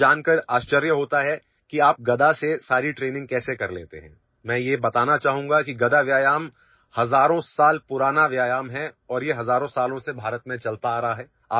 মানুহে ভাবিছে যে আপুনি গদাটোৰে সকলো ট্ৰেইনিং কেনেকৈ কৰে মই মাত্ৰ কব বিচাৰো যে গদা ব্যায়াম হাজাৰ হাজাৰ বছৰ পুৰণি আৰু ভাৰতত ইয়াৰ অনুশীলন হাজাৰ হাজাৰ বছৰ ধৰি চলি আহিছে